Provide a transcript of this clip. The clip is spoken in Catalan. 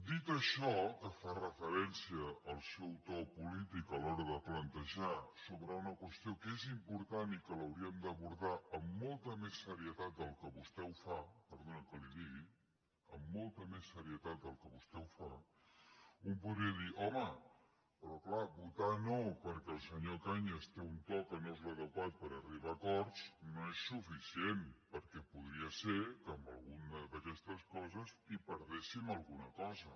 dit això que fa referència al seu to polític a l’hora de plantejar una qüestió que és important i que l’hauríem d’abordar amb molta més serietat del que vostè ho fa perdoni que li ho digui amb molta més serietat del que vostè ho fa un podria dir home però clar votar no perquè el senyor cañas té un to que no és l’adequat per arribar a acords no és suficient perquè podria ser que en alguna d’aquestes coses hi perdéssim alguna cosa